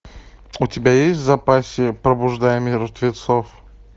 у тебя есть в запасе пробуждая мертвецов